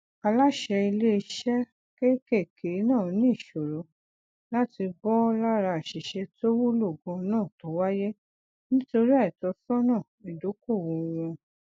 aláṣẹ ilé iṣẹ kéékèèké náà ní ìṣòro láti bọ lára aṣìṣe tó wúlò ganan tó wáyé nítorí àìtọsọnà idókòwò wọn